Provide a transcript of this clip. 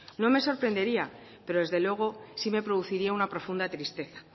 no me sorprendería pero desde luego sí me produciría una profunda tristeza